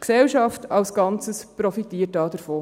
Die Gesellschaft als Ganzes profitiert davon.